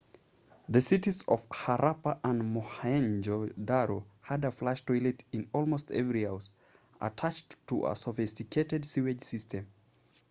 the cities of harappa and mohenjo-daro had a flush toilet in almost every house attached to a sophisticated sewage system